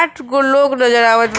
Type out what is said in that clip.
आठ गो लोग नजर आवत बा।